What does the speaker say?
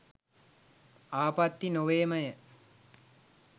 ආපත්ති නොවේමය